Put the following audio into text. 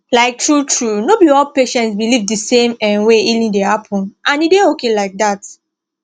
like truetrue no be all patients believe the same um way healing dey happen and e dey okay like that